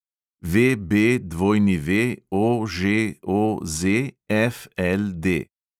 VBWOŽOZFLD